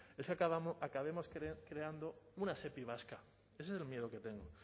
es que acabemos creando una sepi vasca ese es el miedo que tengo